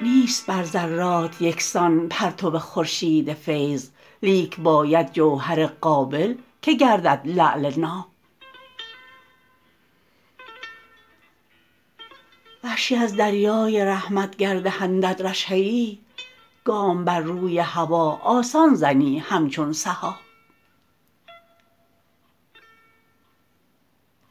نیست بر ذرات یکسان پرتو خورشید فیض لیک باید جوهر قابل که گردد لعل ناب وحشی از دریای رحمت گر دهندت رشحه ای گام بر روی هوا آسان زنی همچون سحاب